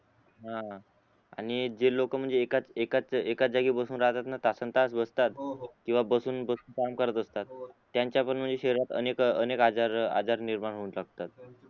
हान आणि जे लोक म्हणजे एकाच एकाच एकाच जागी बसून राहतात ना तासन तास बसतात हो हो किंवा बसून काम करतात त्यांचा पण म्हणजे शरीरात अनेक अनेक आजार आजार निर्माण होतात असतात